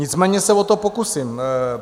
Nicméně se o to pokusím.